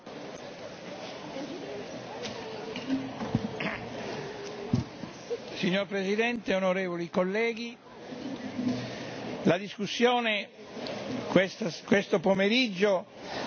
Signora Presidente, onorevoli colleghi, la discussione questo pomeriggio ha rivelato un fatto importante, e cioè che la tematica della giustizia,